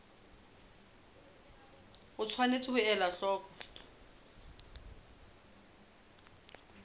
o tshwanetse ho ela hloko